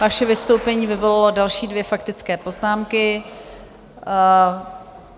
Vaše vystoupení vyvolalo další dvě faktické poznámky...